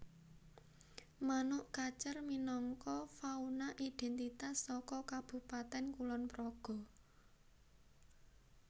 Manuk kacer minangka fauna idhèntitas saka Kabupatèn Kulonpraga